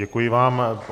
Děkuji vám.